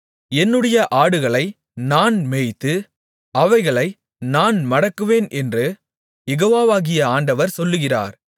என்னுடைய ஆடுகளை நான் மேய்த்து அவைகளை நான் மடக்குவேன் என்று யெகோவாகிய ஆண்டவர் சொல்லுகிறார்